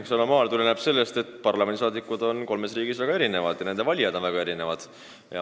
Eks see anomaalia tuleneb sellest, et parlamendiliikmed on kolmes riigis väga erinevad ja nende valijad on väga erinevad.